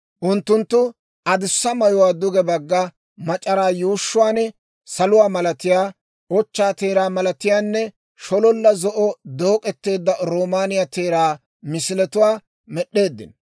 Unttunttu adussa mayuwaa duge bagga mac'araa yuushshuwaan saluwaa malatiyaa, ochchaa teeraa malatiyaanne shololla zo'o dook'eteedda roomaaniyaa teeraa misiletuwaa med'd'eeddino.